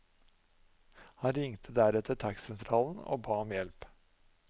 Han ringte deretter taxisentralen og ba om hjelp.